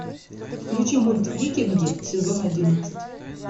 включи мульт викинги сезон одиннадцать